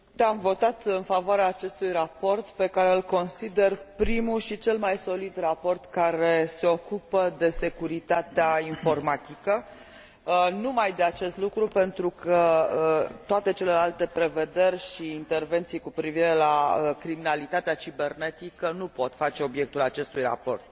Am votat în favoarea acestui raport pe care îl consider primul și cel mai solid raport care se ocupă exclusiv de securitatea informatică, pentru că toate celelalte prevederi și intervenții cu privire la criminalitatea cibernetică nu pot face obiectul acestui raport.